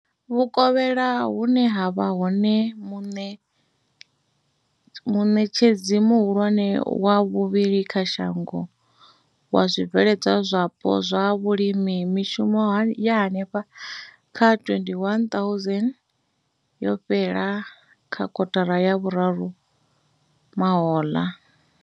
Vhu kovhela, hune ha vha hone muṋetshedzi muhulwane wa vhuvhili kha shango wa zwibveledzwa zwapo zwa vhulimi, mishumo ya henefha kha 21 000 yo fhela kha kotara ya vhuraru mahoḽa.